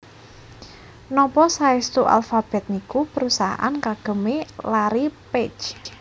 Nopo saestu Alphabet niku perusahaan kagem e Larry Page